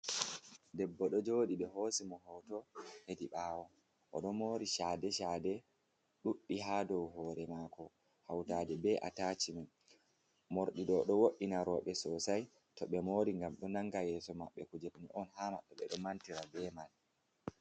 Debbo ɗo joɗi, ɓe hosi mo hoto hedi ɓawo. O ɗo mori shade-shade ɗuɗɗi hsa dou hore maako, hautade be atachimen. Morɗi ɗo ɗo wo’ina rowɓe sosai to ɓe mori, gam ɗo nanga yeso maɓɓe kujerni on ha maɓɓe be do mantira be man